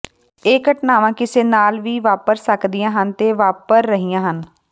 ਇਹ ਘਟਨਾਵਾਂ ਕਿਸੇ ਨਾਲ ਵੀ ਵਾਪਰ ਸਕਦੀਆਂ ਹਨ ਤੇ ਵਾਪਰ ਰਹੀਆਂ ਹਨ